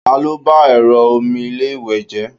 talo ba ẹrọ omi ilé iwe je?